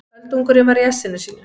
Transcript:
Öldungurinn var í essinu sínu.